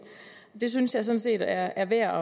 det synes jeg sådan set er værd